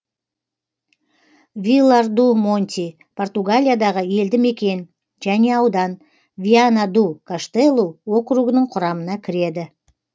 вилар ду монти португалиядағы елді мекен және аудан виана ду каштелу округінің құрамына кіреді